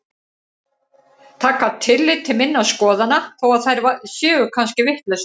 Taka tillit til minna skoðana þó að þær séu kannski vitlausar.